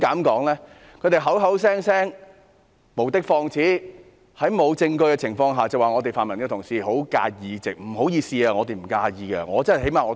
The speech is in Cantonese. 他們口口聲聲無的放矢，在毫無證據下指泛民同事十分在意這個議席。